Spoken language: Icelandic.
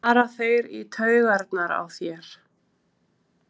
fara þeir í taugarnar á þér?